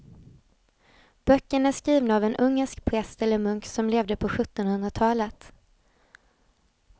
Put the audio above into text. Böckerna är skrivna av en ungersk präst eller munk som levde på sjuttonhundratalet.